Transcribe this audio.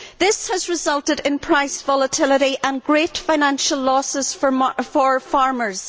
This has resulted in price volatility and great financial losses for farmers.